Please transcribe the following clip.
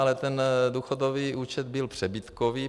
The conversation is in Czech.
Ale ten důchodový účet byl přebytkový.